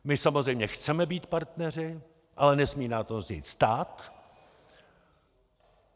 My samozřejmě chceme být partneři, ale nesmí nás to nic stát.